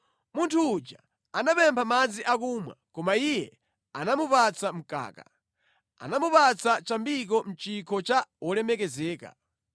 Munthu uja anapempha madzi akumwa, koma iye anamupatsa mkaka; anamupatsa chambiko mʼchikho cha wolemekezeka.